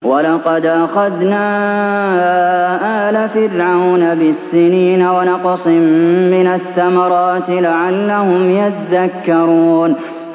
وَلَقَدْ أَخَذْنَا آلَ فِرْعَوْنَ بِالسِّنِينَ وَنَقْصٍ مِّنَ الثَّمَرَاتِ لَعَلَّهُمْ يَذَّكَّرُونَ